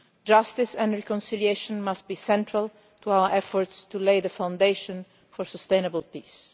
Justice and reconciliation must be central to our efforts to lay the foundation for sustainable peace.